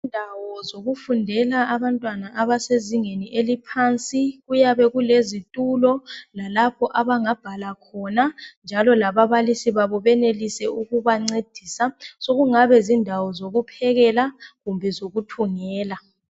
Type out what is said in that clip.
Indawo zokufundela abantwana abasezingeni eliphansi kuyabe kulezitulo lalapho abangabhala khona njalo lababalisi babo benelise ukubancedisa so kungabe zindawo zokuphekela kumbe zokuthungela.